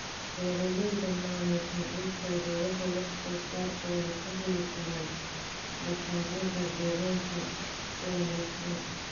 Beeralayda maamusha dhulkooda waxay wax soo saarkooda ka heli karaan baakadaha deegaanka u wanaagsan.